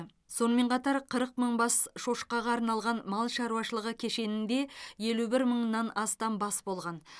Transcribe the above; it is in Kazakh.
сонымен қатар қырық мың бас шошқаға арналған мал шаруашылығы кешенінде елу бір мыңнан астам бас болған